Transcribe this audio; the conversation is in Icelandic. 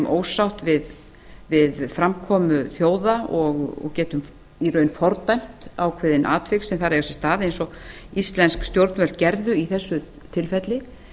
ósátt við framkomu þjóða og getum í raun fordæmt ákveðin atvik sem þar eiga sér stað eins og íslensk stjórn gerðu í þessu tilfelli